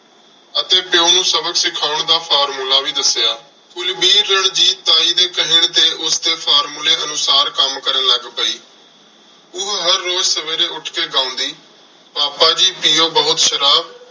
ਅਤੇ ਪਿਉ ਨੂੰ ਸਬਕ ਸਿਖਾਉਣ ਦਾ formula ਵੀ ਦੱਸਿਆ। ਕੁਲਵੀਰ ਰਣਜੀਤ ਤਾਈ ਦੇ ਕਹਿਣ ਤੇ ਉਸਦੇ formula ਅਨੁਸਾਰ ਕੰਮ ਕਰਨ ਲੱਗ ਪਈ। ਉਹ ਹਰ ਰੋਜ਼ ਸਵੇਰੇ ਉੱਠ ਕੇ ਗਾਉਂਦੀ, ਪਾਪਾ ਜੀ ਪੀਉ ਬਹੁਤ ਸ਼ਰਾਬ